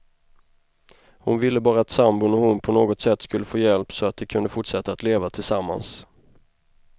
Hon ville bara att sambon och hon på något sätt skulle få hjälp, så att de kunde fortsätta att leva tillsammans.